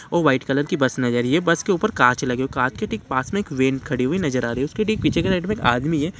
वो white colour कि bus है बस ऊपर काँच लगे हुए है काँच के ठीक पास में एक वैन खड़ी हुई नज़र आ रही है उसके ठीक पीछे में एक आदमी है।